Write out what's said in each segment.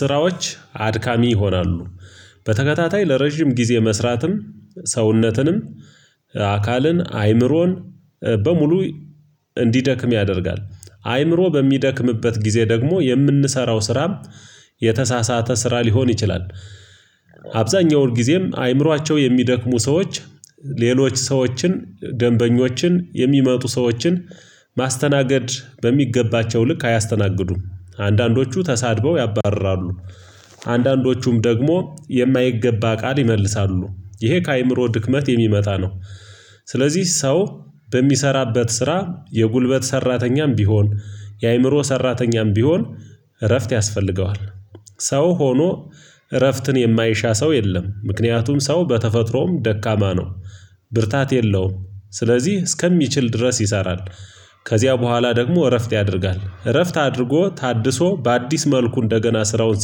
ስራዎች አድካሚ ይሆናሉ በተከታታይ ለረጅም ጊዜ መስራትም ሰውነትንም አካልን አይምሮን በሙሉ እንዲደክም ያደርጋል አይምሮ በሚደክምበት ጊዜ ደግሞ የምንሰራው ስራም የተሳሳተ ስራ ሊሆን ይችላል። አብዛኛው ሁልጊዜም አእምሯቸው የሚደክሙ ሰዎች ሌሎች ሰዎችን ደንበኞችን የሚመጡ ሰዎችን ማስተናገድ በሚገባቸው ልክ አያስተናግዱም አንዳንዶቹ ተሳድበው ያባርራሉ አንዳንዶቹም ደግሞ የማይገባ ቃል ይመልሳሉ ይሄ ከአእምሮ ድክመት የሚመጣ ነው። ስለዚህ ሰው በሚሰራበት ስራ የጉልበት ሰራተኛም ቢሆን የአእምሮ ሰራተኛም ቢሆን እረፍት ያስፈልገዋል። ሰው ሆኖ እረፍትን የማይሻ ሰው የለም ምክንያቱም ሰው በተፈጥሮም ደካማ ነው። ብርታት የለውም ስለዚህ እስከሚችል ድረስ ይሰራል። ከዚያ በኋላ ደግሞ እረፍት ያደርጋል እረፍት አድርጎ ታድሶ በአዲስ መልኩ እንደገና ስራውን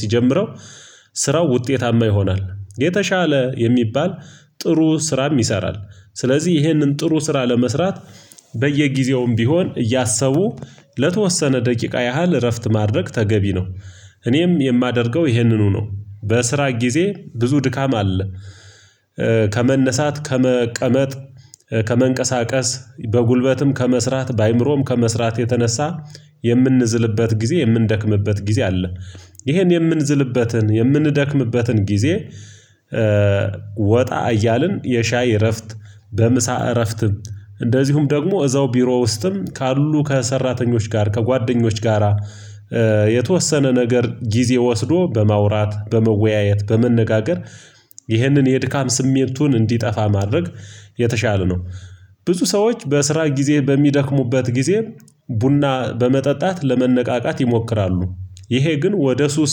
ሲጀምረው ስራው ውጤታማ ይሆናል የተሻለ የሚባል ጥሩ ስራም ይሰራል። ስለዚህ ይህንን ጥሩ ስራ ለመስራት በየጊዜውም ቢሆን እያሰቡ ለተወሰነ ደቂቃ ያህል እረፍት ማድረግ ተገቢ ነው። እኔም የማደርገው ይህንኑ ነው። በስራ ጊዜ ብዙ ድካም አለ። ከመነሳት ከመቀመጥ ከመንቀሳቀስ በጉልበትም ከመስራት በአእምሮም ከመስራት የተነሳ የምንዝልበት ጊዜ የምንደክምበት ጊዜ አለ። ይሄን የምንዝልበትን የምንደክምበትን ጊዜ ወጣ እያልን የሻይ እረፍት በምሳ እረፍትም እንደዚሁም ደግሞ እዛው ቢሮ ውስጥም ካሉ ከሰራተኞች ጋር ከጓደኞች ጋራ የተወሰነ ነገር ጊዜ ወስዶ በማውራት በመወያየት በመነጋገር ይህንን የድካም ስሜቱን እንዲጠፋ ማድረግ የተሻለ ነው። ብዙ ሰዎች በስራ ጊዜ በሚደክሙበት ጊዜ ቡና በመጠጣት ለመነቃቃት ይሞክራሉ። ይሄ ግን ወደ ሱስ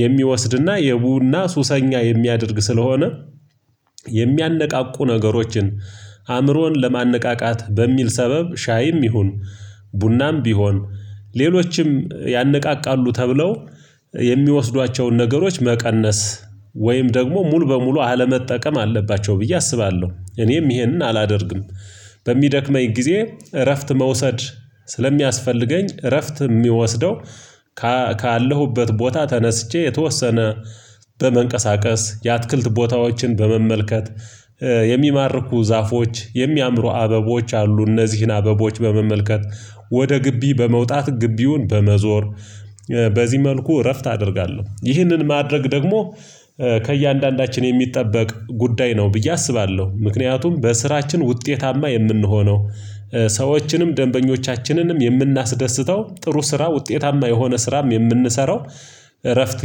የሚወስድና የቡና ሱሰኛ የሚያደርግ ስለሆነ። የሚያነቃቁ ነገሮችን አእምሮን ለማነቃቃት በሚል ሰበብ ሻይም ይሁን ቡናም ቢሆን ሌሎችም ያነቃቃሉ ተብለው የሚወስዷቸውን ነገሮች መቀነስ ወይም ደግሞ ሙሉ በሙሉ አለመጠቀም አለባቸው ብዬ አስባለሁ እኔም ይሄንን አላደርግም። በሚደክመኝ ጊዜ እረፍት መውሰድ ስለሚያስፈልገኝ እረፍት ሚወስደው ከአ ካለሁበት ቦታ ተነስቼ የተወሰነ በመንቀሳቀስ የአትክልት ቦታዎችን በመመልከት የሚማርኩ ዛፎች የሚያምሩ አበቦች አሉ እነዚህን አበቦች በመመልከት ወደ ግቢ በመውጣት ግቢውን በመዞር በዚህ መልኩ እረፍት አደርጋለሁ። ይህንን ማድረግ ደግሞ ከእያንዳንዳችን የሚጠበቅ ጉዳይ ነው ብዬ አስባለሁ። ምክንያቱም በስራችን ውጤታማ የምንሆነው ሰዎችንም ደንበኞቻችንንም የምናስደስተው ጥሩ ስራ ውጤታማ የሆነ ስራም የምንሰራው እረፍት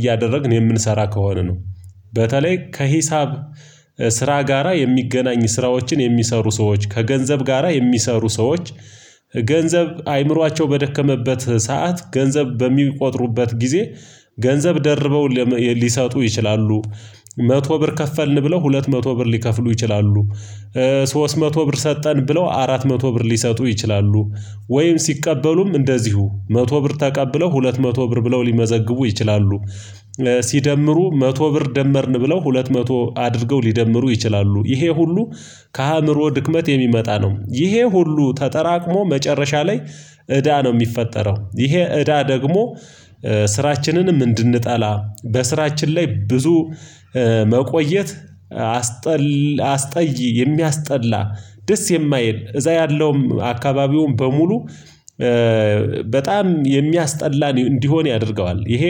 እያደረግን የምንሰራ ከሆነ ነው። በተለይ ከሂሳብ ስራ ጋራ የሚገናኝ ስራዎችን የሚሰሩ ሰዎች ከገንዘብ ጋራ የሚሰሩ ሰዎች ገንዘብ አይምሯቸው በደከመበት ሰዓት ገንዘብ በሚቆጥሩበት ጊዜ ገንዘብ ደርበው ሊሰጡ ይችላሉ መቶ ብር ከፈልን ብለው ሁለት መቶ ብር ሊከፍሉ ይችላሉ። ሶስት መቶ ብር ሰጠን ብለው አራት መቶ ብር ሊሰጡ ይችላሉ ወይም ሲቀበሉም እንደዚሁ መቶ ብር ተቀብለው ሁለት መቶ ብር ብለው ሊመዘግቡ ይችላሉ። ሲደምሩ መቶ ብር ደመርን ብለው ሁለት መቶ አድርገው ሊደምሩ ይችላሉ ይሄ ሁሉ ከአእምሮ ድክመት የሚመጣ ነው። ይሄ ሁሉ ተጠራቅሞ መጨረሻ ላይ እዳ ነው የሚፈጠረው። ይሄ እዳ ደግሞ ስራችንንም እንድንጠላ በስራችን ላይ ብዙ መቆየት አስጠላ አስጠይ የሚያስጠላ ደስ የማይል እዛ ያለውም አካባቢውን በሙሉ በጣም የሚያስጠላ እንዲሆን ያደርገዋል። ይሄ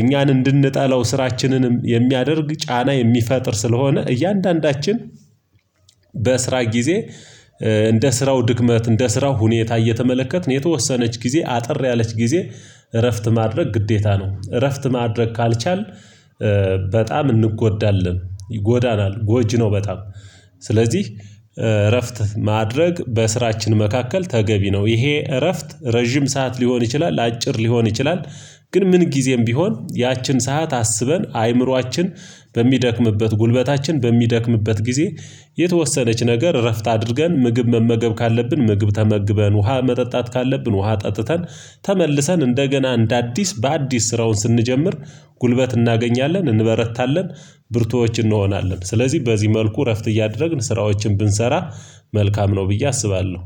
እኛን እንድንጠላው ስራችንንም የሚያደርግ ጫና የሚፈጥር ስለሆነ። እያንዳንዳችን በስራ ጊዜ እንደ ስራው ድክመት እንደ ስራው ሁኔታ እየተመለከትን የተወሰነች ጊዜ አጠር ያለች ጊዜ እረፍት ማድረግ ግዴታ ነው። እረፍት ማድረግ ካልቻልን በጣም እንጎዳለን ይጎዳናል ጎጂ ነው። በጣም ስለዚህ እረፍት ማድረግ በስራችን መካከል ተገቢ ነው። ይሄ እረፍት ረጅም ሰዓት ሊሆን ይችላል አጭር ሊሆን ይችላል። ግን ምን ጊዜም ቢሆን ያችን ሰዓት አስበን አይምሯችን በሚደክምበት ጉልበታችን በሚደክምበት ጊዜ የተወሰነች ነገር እረፍት አድርገን ምግብ መመገብ ካለብን ምግብ ተመግበን ውሃ መጠጣት ካለብን ውሃ ጠጥተን ተመልሰን እንደገና እንደ አዲስ በአዲስ ስራውን ስንጀምር ጉልበት እናገኛለን እንበረታለን። ብርቱዎች እንሆናለን ስለዚህ በዚህ መልኩ እረፍት እያደረግን ስራዎችን ብንሰራ መልካም ነው ብዬ አስባለሁ።